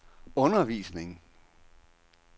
undervisning